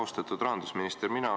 Austatud rahandusminister!